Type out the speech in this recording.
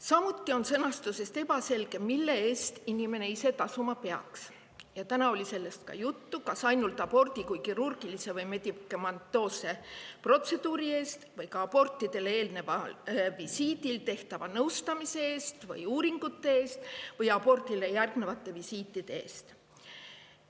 Samuti on sõnastusest ebaselge, mille eest inimene ise tasuma peaks – ka täna oli sellest juttu –, kas ainult abordi kui kirurgilise või medikamentoosse protseduuri eest või ka abordile eelneval visiidil tehtava nõustamise eest, uuringute eest ja abordile järgnevate visiitide eest.